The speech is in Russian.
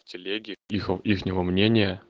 в телеге ихо их него мнения